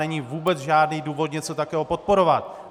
Není vůbec žádný důvod něco takového podporovat.